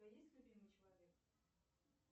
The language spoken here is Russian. у тебя есть любимый человек